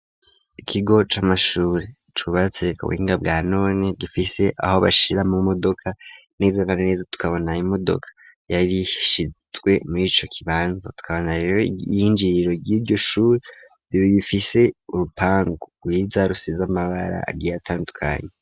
Ikigo c'amashure cubatse ku buhinga bwa none gifise aho bashira ama modoka neza na neza tukabona imodoka yari shizwe murico kibanza tukabona rero iyinjiriro yiryo shuri rifise urupangu rwiza rusize amabara agiye atandukanye.